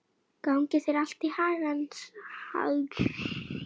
Gangi þér allt í haginn, Skugga.